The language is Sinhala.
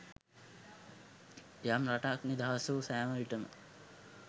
යම් රටක් නිදහස් වූ සැම විටම